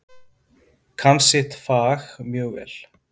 Kann sitt fag mjög vel.